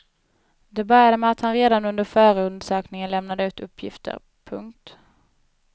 Det började med att han redan under förundersökningen lämnade ut uppgifter. punkt